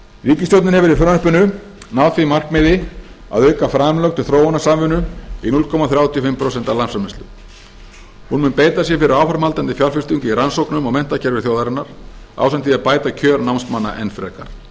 ríkisstjórnin hefur í frumvarpinu náð því markmiði að auka framlög til þróunarsamvinnu í núll komma þrjátíu og fimm prósent af landsframleiðslu hún mun beita sér fyrir áframhaldandi fjárfestingu í rannsóknum og menntakerfi þjóðarinnar ásamt því að bæta kjör námsmanna enn frekar